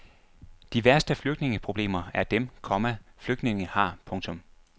De værste flygtningeproblemer er dem, komma flygtningene har. punktum